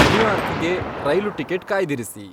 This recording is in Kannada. ನ್ಯೂಯಾರ್ಕ್ಗೆ ರೈಲು ಟಿಕೆಟ್ ಕಾಯ್ದಿರಿಸಿ